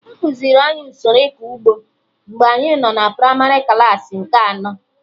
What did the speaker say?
Ekuziri anyị usoro ịkọ ụgbọ mgbe anyị nọ na primarị klaasị nke anọ